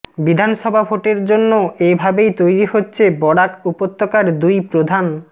বিধানসভা ভোটের জন্য এ ভাবেই তৈরি হচ্ছে বরাক উপত্যকার দুই প্রধান